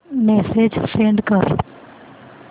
message send कर